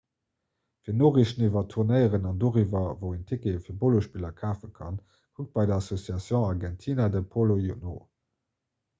fir noriichten iwwer tournéieren an doriwwer wou een tickete fir polospiller kafe kann kuckt bei der asociacion argentina de polo no